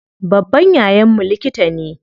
Babban yayan mu likita ne.